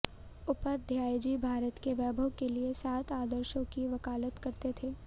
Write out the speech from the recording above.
उपाध्याय जी भारत के वैभव के लिए सात आदर्शों की वकालत करते थे